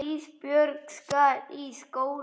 Ísbjörg skal í skóla.